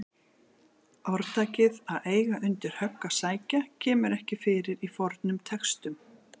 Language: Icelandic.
Orðtakið að eiga undir högg að sækja kemur ekki fyrir í fornum textum.